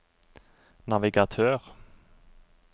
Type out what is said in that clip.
navigatør